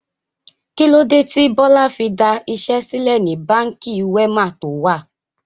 Kilode tí Bọlá fi da iṣẹ́ sílẹ̀ ni Báńkì Wema to wà?